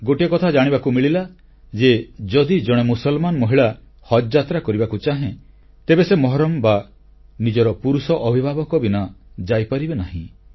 ଗୋଟିଏ କଥା ଜାଣିବାକୁ ମିଳିଲା ଯେ ଯଦି ମୁସଲମାନ୍ ମହିଳା ହଜଯାତ୍ରା କରିବାକୁ ଚାହେଁ ତେବେ ସେ ମହରମ୍ ବା ନିଜର ପୁରୁଷ ଅଭିଭାବକ ବିନା ଯାଇପାରିବେ ନାହିଁ